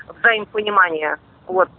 взаимопонимание вот